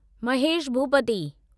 Mahesh Bhupathi